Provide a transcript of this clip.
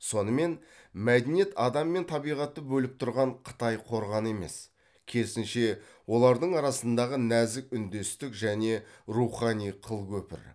сонымен мәдениет адам мен табиғатты бөліп тұрған қытай қорғаны емес керісінше олардың арасындағы нәзік үндестік және рухани қыл көпір